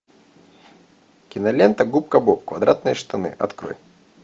кинолента губка боб квадратные штаны открой